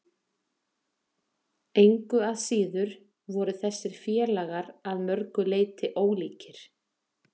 Engu að síður voru þessir félagar að mörgu leyti ólíkir.